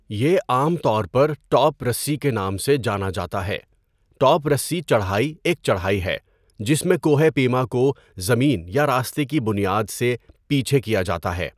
یہ عام طور پر ٹاپ رسی کے نام سے جانا جاتا ہے۔ ٹاپ رسی چڑھائی ایک چڑھائی ہے جس میں کوہ پیما کو زمین یا راستے کی بنیاد سے پیچھے کیا جاتا ہے۔